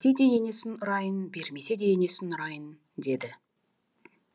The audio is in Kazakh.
де енесін ұрайын бермесе де енесін ұрайын деді